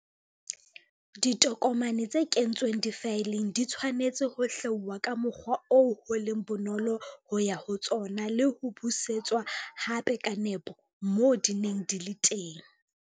Ditokomane tse kentsweng difaeleng di tshwanetse ho hlwauwa ka mokgwa oo ho leng bonolo ho ya ho tsona le ho busetswa hape ka nepo moo di neng di le teng.